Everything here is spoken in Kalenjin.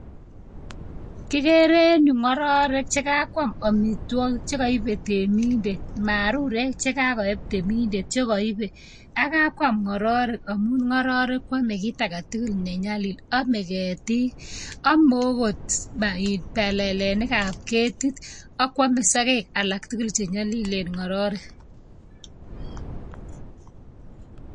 Kigere en yu ngororek chekakwam amitwogik chekoibe reminder, marurek chekakoyeb reminder, chekoibe. Ak kakwam ngororek amun ngororek koame kitagetugul nenyalil. Ome ketik, one okot balalenikab keetit ak kwome sogek alak tugul che nyolileen ngororek.